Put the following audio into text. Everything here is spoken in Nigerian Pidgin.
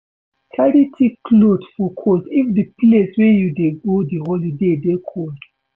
Carry thick cloth for cold if di place wey you dey go di holiday dey cold